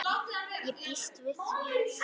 Ég býst við því!